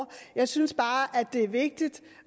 jeg synes bare at det er vigtigt